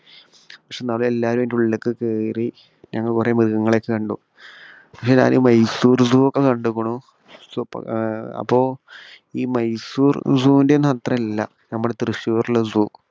പക്ഷേ ഞങ്ങൾ എല്ലാവരും അതിന്റെ ഉള്ളിലേക്ക് കേറി ഞങ്ങൾ കുറേ മൃഗങ്ങളെ ഒക്കെ കണ്ടു. പിന്നെ ഞാൻ മൈസൂർ zoo ഒക്കെ കണ്ടുക്കുണു. സൂപ് അപ്പോ ഈ മൈസൂർ zoo വിന്റെ ഒന്നും അത്ര ഇല്ല നമ്മുടെ തൃശൂർ ഉള്ള zoo.